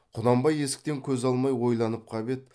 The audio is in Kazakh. құнанбай есіктен көз алмай ойланып қап еді